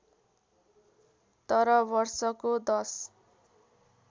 तर वर्षको १०